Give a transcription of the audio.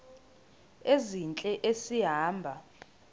ezintle esi hamba